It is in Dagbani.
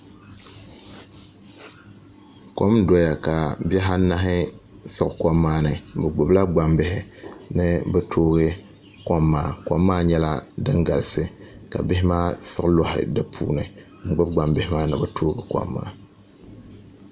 Kom n doya ka bihi anahi siɣi kom maa ni bi gbubila gbambihi ni bi toogi kom maa kom maa nyɛla din galisi ka bihi maa siɣi loɣi di puuni n gbubi gbambihi maa ni bi tooi di kom maa